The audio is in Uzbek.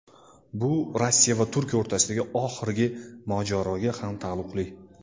Bu Rossiya va Turkiya o‘rtasidagi oxirgi mojaroga ham taalluqli.